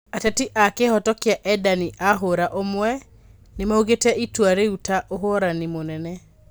Ateteri a kĩhoto kĩa endani a hũra ũmwe nĩmaugĩte itua rĩu ta ũhorani mũnene.